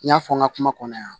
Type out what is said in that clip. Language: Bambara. N y'a fɔ n ka kuma kɔnɔ yan